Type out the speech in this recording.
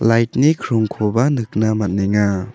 lait ni krongkoba nikna man·enga.